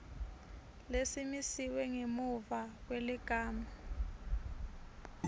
lesimisiwe ngemuva kweligama